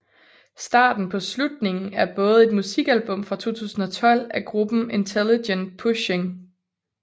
Starten På Slutningen er både et musikalbum fra 2012 af gruppen Intelligent Pushing